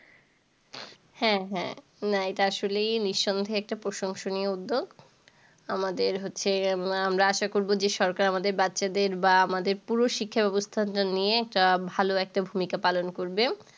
হ্যাঁ হ্যাঁ। না এটা আসলে নিঃসন্দেহে একটা প্রশংসনীয় উদ্যোগ। আমাদের হচ্ছে, আমরা আশা করব যে সরকার আমাদের বাচ্চাদের বা আমাদের পুরো শিক্ষা ব্যবস্থা নিয়ে ভালো একটা ভূমিকা পালন করবে।